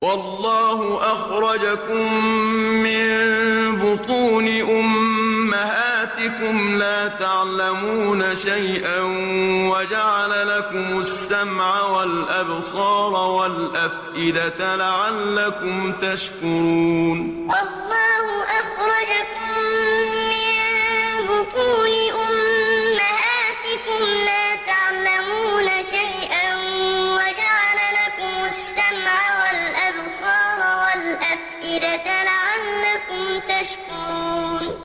وَاللَّهُ أَخْرَجَكُم مِّن بُطُونِ أُمَّهَاتِكُمْ لَا تَعْلَمُونَ شَيْئًا وَجَعَلَ لَكُمُ السَّمْعَ وَالْأَبْصَارَ وَالْأَفْئِدَةَ ۙ لَعَلَّكُمْ تَشْكُرُونَ وَاللَّهُ أَخْرَجَكُم مِّن بُطُونِ أُمَّهَاتِكُمْ لَا تَعْلَمُونَ شَيْئًا وَجَعَلَ لَكُمُ السَّمْعَ وَالْأَبْصَارَ وَالْأَفْئِدَةَ ۙ لَعَلَّكُمْ تَشْكُرُونَ